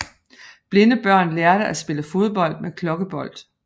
Blinde børn lærte at spille fodbold med klokkebold